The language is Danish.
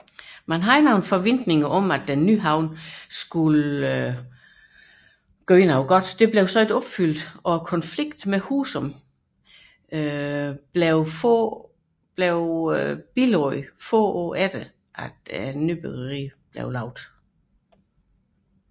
Men forventninger med den nye havn blev ikke opfyldt og konflikten med Husum blev få år efter nybyggeriet bilagt